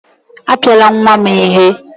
Apiala nwa m ihe!